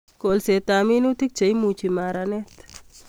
Kolset ab minutik Che imuchi maranet